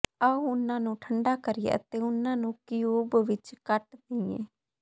ਆਓ ਉਹਨਾਂ ਨੂੰ ਠੰਢਾ ਕਰੀਏ ਅਤੇ ਉਨ੍ਹਾਂ ਨੂੰ ਕਿਊਬ ਵਿੱਚ ਕੱਟ ਦੇਈਏ